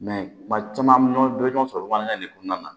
Mɛ kuma caman an bɛ ɲɔgɔn dɔn ɲɔgɔn sɔrɔ bamanankan de kɔnɔna na